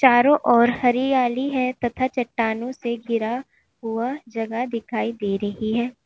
चारों ओर हरियाली है तथा चट्टानों से घिरा हुआ जगह दिखाई दे रही है।